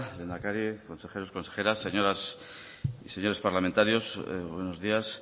lehendakari consejeros consejeras señoras y señores parlamentarios buenos días